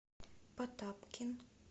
потапкин